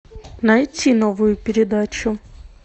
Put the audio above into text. найти новую передачу